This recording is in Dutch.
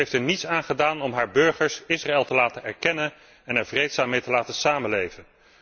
Zij heeft er niets aan gedaan om haar burgers Israël te laten erkennen en er vreedzaam mee te laten samenleven.